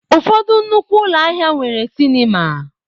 Ụfọdụ nnukwu ụlọ ahịa nwere sinima.